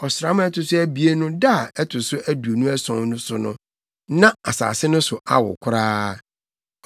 Ɔsram a ɛto so abien no da a ɛto so aduonu ason so no na asase no so woo koraa.